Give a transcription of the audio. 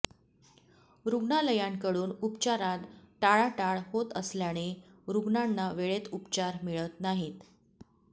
रुग्णालयांकडून उपचारात टाळाटाळ होत असल्याने रुग्णांना वेळेत उपचार मिळत नाहीत